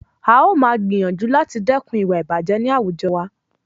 A ó máa gbìyànjú láti dẹ́kun ìwà ìbàjẹ́ ní àwùjọ wa.